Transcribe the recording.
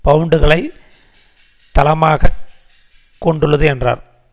பவுண்டுகளை தளமாக கொண்டுள்ளது என்றார்